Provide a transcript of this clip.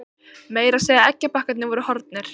Meira að segja eggjabakkarnir voru horfnir.